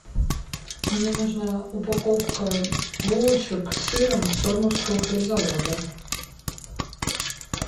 мне нужна упаковка булочек с сыром сормовского хлебзавода